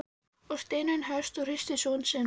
sagði Steinunn höst og hristi son sinn.